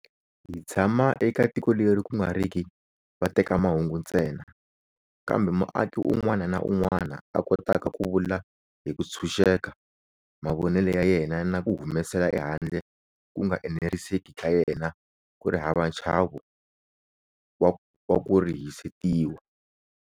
Hi tshama eka tiko leri ku nga riki vatekamahungu ntsena, kambe muaki un'wana na un'wana a kotaka ku vula hi ku tshunxeka mavonelo ya yena na ku humesela ehandle ku nga eneriseki ka yena ku ri hava nchavo wa ku rihisetiwa.